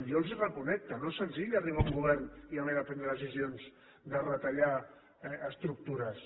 jo els reconec que no és senzill arribar a un govern i haver de prendre decisions de retallar estructures